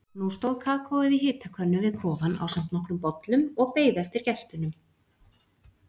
Nú stóð kakóið í hitakönnu við kofann ásamt nokkrum bollum og beið eftir gestunum.